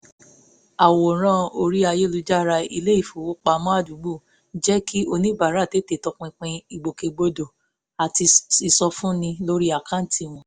àwòrán orí ayélujára ilé ìfowópamọ́ àdúgbò jẹ́ kí oníbàárà tètè tọpinpin ìgbòkègbodò àti ìsọfúnni lórí àkáǹtì wọn